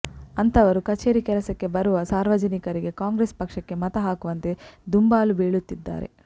ಅಂಥವರು ಕಚೇರಿ ಕೆಲಸಕ್ಕೆ ಬರುವ ಸಾರ್ವಜನಿಕರಿಗೆ ಕಾಂಗ್ರೆಸ್ ಪಕ್ಷಕ್ಕೆ ಮತ ಹಾಕುವಂತೆ ದುಂಬಾಲು ಬೀಳುತ್ತಿದ್ದಾರೆ